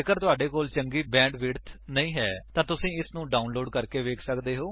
ਜੇਕਰ ਤੁਹਾਡੇ ਕੋਲ ਚੰਗੀ ਬੈਂਡਵਿਡਥ ਨਹੀਂ ਹੈ ਤਾਂ ਤੁਸੀ ਇਸਨੂੰ ਡਾਉਨਲੋਡ ਕਰਕੇ ਵੀ ਵੇਖ ਸੱਕਦੇ ਹੋ